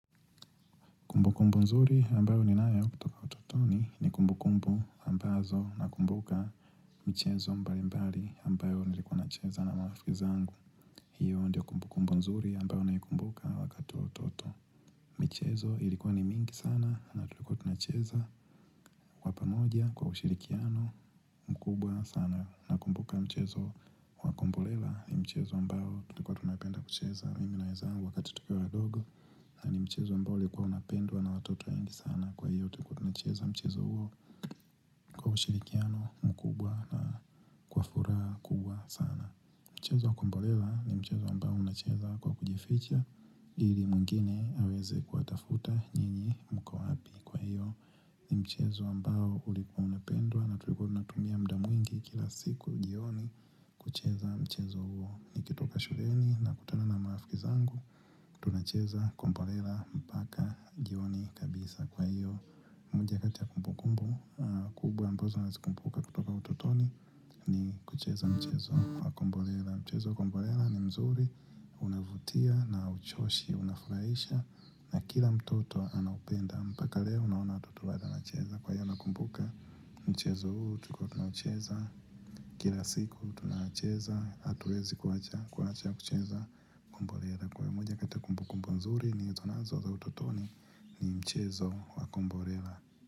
Kumbukumbu nzuri ambayo ninayo kutoka utotoni ni kumbukumbu ambazo nakumbuka michezo mbalimbali ambayo nilikuwa nacheza na marafiki zangu. Hiyo ndiyo kumbukumbu nzuri ambayo naikumbuka wakati utoto. Michezo ilikuwa ni mingi sana na tulikuwa tunacheza kwa pamoja kwa ushirikiano mkubwa sana nakumbuka mchezo wa komborela ni mchezo ambao tulikuwa tunapenda kucheza mimi na wenzangu wakati tukiwa wadogo. Na ni mchezo ambao ulikuwa unapendwa na watoto wengi sana kwa hiyo tulikuwa tunacheza mchezo huo kwa ushirikiano mkubwa na kwa furaha kubwa sana. Mchezo wa komborela ni mchezo ambao unacheza kwa kujificha ili mwingine aweze kuwatafuta nyinyi mko wapi, kwa hiyo ni mchezo ambao ulikuwa unapendwa na tulikuwa tunatumia muda mwingi kila siku jioni kucheza mchezo huo. Nikitoka shuleni nakutana na marafiki zangu. Tunacheza komborela, mpaka jioni kabisa. Kwa hiyo moja kati ya kumbukumbu Kubuwa ambazo nazikumbuka kutoka utotoni ni kucheza mchezo wa komborela. Mchezo wa komborela ni mzuri, unavutia na hauchoshi, unafurahisha na kila mtoto anaupenda mpaka leo unaona watoto bado wanacheza kwa hiyo nakumbuka mchezo huu tulikuwa tunaucheza Kila siku tunacheza. Hatuezi kuacha kucheza komborela. Kwa hiyo moja kati ya kumbukumbu mzuri nilizonazo za utotoni ni mchezo wa komborela.